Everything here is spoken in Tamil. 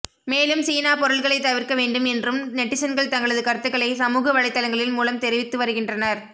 மேலும் சீனா பொருள்களை தவிர்க்க வேண்டும் என்றும் நெட்டிசன்கள் தங்களது கருத்துக்களை சமூக வலைதளங்கள் மூலம் தெரிவித்து வருகின்றனர்